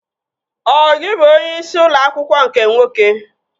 Ọ gị bụ onyeisi ụlọ akwụkwọ nke nwoke?